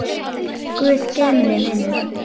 Guð geymi þig, vinur.